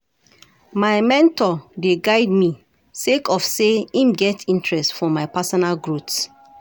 My mentor dey guide me sake of sey im get interest for my personal growth.